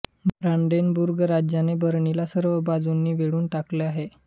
Brandenburg राज्याने बर्लिनला सर्व बाजूंनी वेढून टाकले आहे